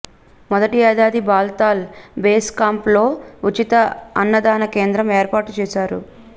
మొదటి ఏడాది బాల్తాల్ బేస్క్యాంప్లో ఉచిత అన్నదాన కేంద్రం ఏర్పాటు చేశారు